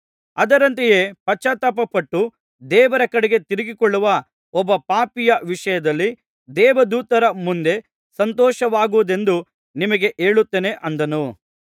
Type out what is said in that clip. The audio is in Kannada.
ಅದರಂತೆ ಪಶ್ಚಾತ್ತಾಪಪಟ್ಟು ದೇವರ ಕಡೆಗೆ ತಿರುಗಿಕೊಳ್ಳುವ ಒಬ್ಬ ಪಾಪಿಯ ವಿಷಯದಲ್ಲಿ ದೇವದೂತರ ಮುಂದೆ ಸಂತೋಷವಾಗುವುದೆಂದು ನಿಮಗೆ ಹೇಳುತ್ತೇನೆ ಅಂದನು